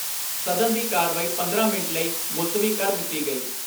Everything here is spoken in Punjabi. ਸਦਨ ਦੀ ਕਾਰਵਾਈ ਪੰਦਰਾਂ ਮਿੰਟ ਲਈ ਮੁਲਤਵੀ ਕਰ ਦਿੱਤੀ ਗਈ।